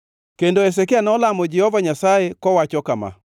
Kendo Hezekia nolamo Jehova Nyasaye kowacho kama: